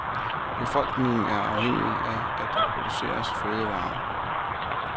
Befolkningen er afhængige af, at der produceres fødevarer.